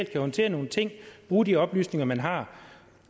kan håndtere nogle ting bruge de oplysninger man har